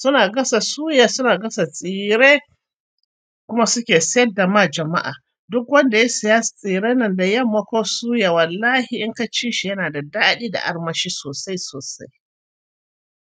suna gasa suya, suna gasa tsire kuma suke sayarda ma jama'a. Duk wanda ya siya tsiren nan da yamma ko suya wallahi in kaci shi yana da daɗi da armashi sosai sosai.